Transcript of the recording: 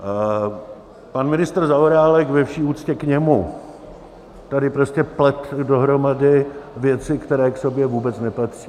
Pan ministr Zaorálek, ve vší úctě k němu, tady prostě plete dohromady věci, které k sobě vůbec nepatří.